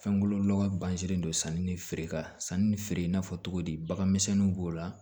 Fɛnkolo lɔgɔ ganzin don sanni ni feereka sanni ni feere in n'a fɔ cogodi baganmisɛnninw b'o la